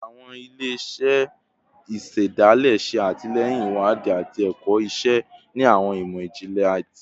Awọn ile-iṣẹ isedale ṣe atilẹyin iwadii ati ẹkọ iṣe ni awọn imọ-jinlẹ ti ibi